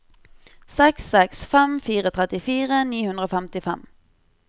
seks seks fem fire trettifire ni hundre og femtifem